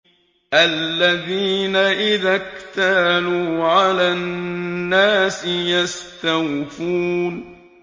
الَّذِينَ إِذَا اكْتَالُوا عَلَى النَّاسِ يَسْتَوْفُونَ